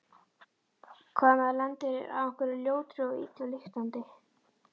Hvað ef maður lendir á einhverri ljótri og illa lyktandi?